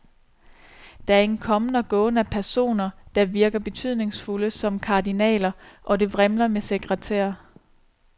Der er en kommen og gåen af personer, der virker betydningsfulde som kardinaler, og det vrimler med sekretærer.